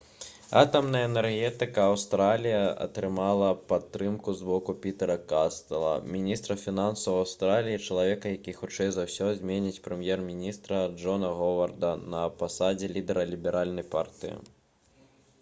атамная энергетыка аўстраліі атрымала падтрымку з боку пітэра кастэла міністра фінансаў аўстраліі і чалавека які хутчэй за ўсё зменіць прэм'ер-міністра джона говарда на пасадзе лідара ліберальнай партыі